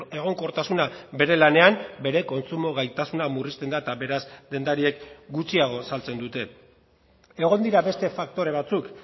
egonkortasuna bere lanean bere kontsumo gaitasuna murrizten da eta beraz dendariek gutxiago saltzen dute egon dira beste faktore batzuk